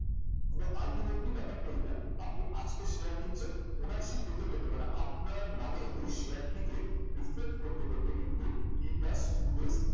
কিন্তু ultimately ব্যাপারটা এটা আপনি আজকে share কিনছেন ownership পেতে পেতে মানে আপনার নামে share টিকে reflect করতে করতে কিন্তু t plus two days